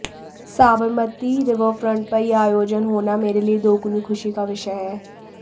Sabarmati riverfront पर ये आयोजन होना मेरे लिए दोगुनी खुशी का विषय है